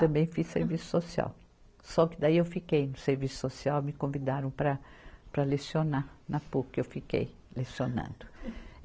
Também fiz serviço social, só que daí eu fiquei no serviço social, me convidaram para lecionar, na Puc eu fiquei lecionando.